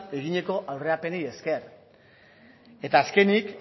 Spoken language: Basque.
eginiko aurrerapenei esker eta azkenik